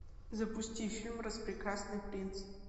запусти фильм распрекрасный принц